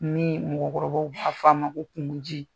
Nin mɔgɔkɔrɔbaw b'a fɔ a ma ko kungoji.